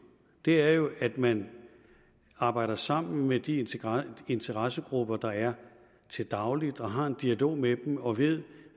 er jo at man arbejder sammen med de interessegrupper der er til daglig og har en dialog med dem og ved